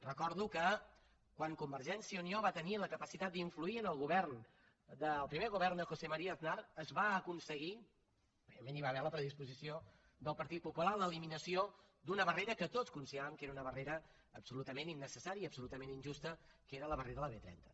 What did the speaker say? recordo que quan convergència i unió va tenir la capacitat d’influir en el primer govern de josé maría aznar es va aconseguir evidentment hi va haver la predisposició del partit popular l’eliminació d’una barrera que tots consideràvem que era una barrera absolutament innecessària i absolutament injusta que era la barrera de la b trenta